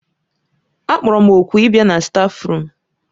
Akpọrọ m òkù ịbịa na stáfruum.